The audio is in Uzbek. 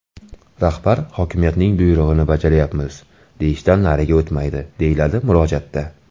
Rahbar hokimiyatning buyrug‘ini bajaryapmiz, deyishdan nariga o‘tmaydi, deyiladi murojaatda.